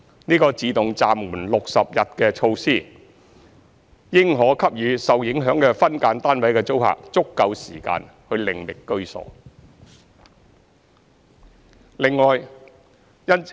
這個"自動暫緩 "60 日的措施，應可給予受影響的分間單位的租客足夠時間，另覓居所。